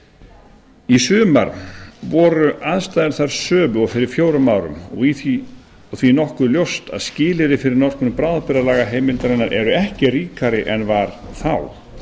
áður í sumar voru aðstæður þær sömu og fyrir fjórum árum og því nokkuð ljóst að skilyrði fyrir notkun bráðabirgðalagaheimildarinnar eru ekki ríkari en var þá það